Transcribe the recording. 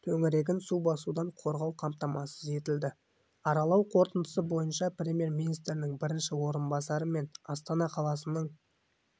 төңірегін су басудан қорғау қамтамасыз етілді аралау қорытындысы бойынша премьер-министрінің бірінші орынбасары мен астана қаласының